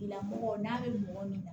Lamɔgɔ n'a bɛ mɔgɔ min na